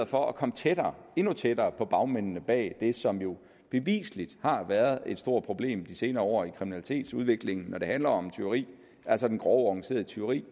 for at komme tættere endnu tættere på bagmændene bag det som jo bevisligt har været et stort problem i de senere år i kriminalitetsudviklingen når det handler om tyveri altså det grove organiserede tyveri